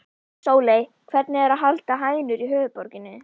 Sóley, hvernig er að halda hænur í höfuðborginni?